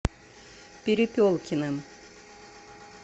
перепелкиным